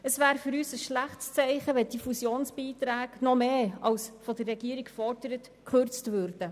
Es wäre für uns ein schlechtes Zeichen, wenn die Fusionsbeiträge noch stärker als von der Regierung gefordert gekürzt würden.